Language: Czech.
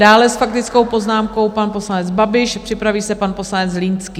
Dále s faktickou poznámkou pan poslanec Babiš, připraví se pan poslanec Zlínský.